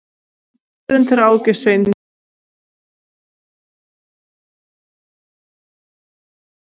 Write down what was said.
Jörundur Áki Sveinsson hefur þjálfað liðið en samningur hans rennur út um áramót.